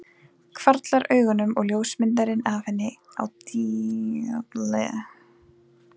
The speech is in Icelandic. Hvarflar augunum að ljósmyndinni af henni á dyraveggnum.